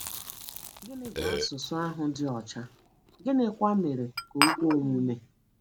Gịnị bụ “ asụsụ ahụ dị ọcha ,” gịnịkwa mere ka o kwe omume?